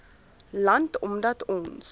land omdat ons